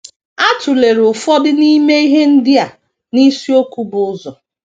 A tụlere ụfọdụ n’ime ihe ndị a n’isiokwu bu ụzọ.